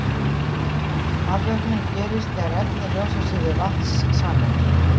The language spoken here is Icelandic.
afvötnun gerist þegar efni losa sig við vatnssameind